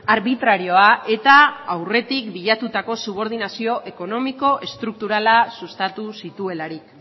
arbitrarioa eta aurretik bilatutako subordinazio ekonomiko estrukturala sustatu zituelarik